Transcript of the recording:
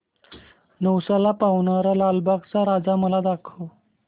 नवसाला पावणारा लालबागचा राजा मला दाखव